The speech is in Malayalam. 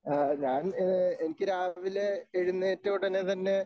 ആ ഞാൻ ഏ എനിക്ക് രാവിലെ എഴുന്നേറ്റ ഉടനെ തന്നെ